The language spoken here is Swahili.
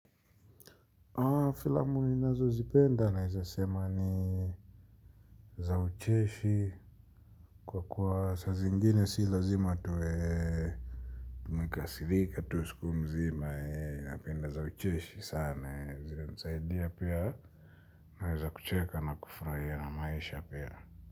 Haa filamu ni nazo zipenda na weza sema ni za ucheshi kwa kuwa sa zingine si lazima tuwe tumekasirika tuwe siku mzima hee napenda za ucheshi sana hee nisaidia pia na weza kucheka na kufurahia maisha pia.